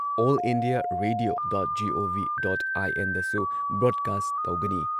All India Radio dot G O V dot I N ꯗꯁꯨ broadcast ꯇꯧꯒꯅꯤ ꯫